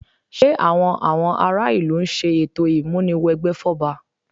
Ṣé àwọn àwọn ará ìlú ń ṣe ètò ìmúni wẹgbẹ́ fún ọba?